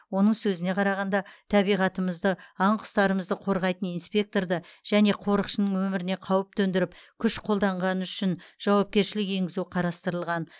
оның сөзіне қарағанда табиғатымызды аң құстарымызды қорғайтын инспекторды және қорықшының өміріне қауіп төндіріп күш қолданғаны үшін жауапкершілік енгізу қарастырылған